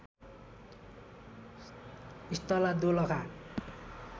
स्थला Dolakha